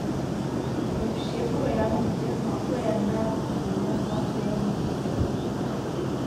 Ob šefu, rojenem v tem znaku, je nedvomno vsak delavnik poseben.